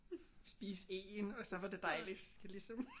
Spise én og så var det dejligt jeg skal ligesom